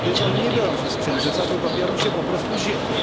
Przecież one nie biorą się z księżyca, tylko biorą się po prostu z ziemi.